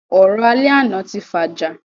Ọ̀rọ̀ alẹ́ àná tí fàjà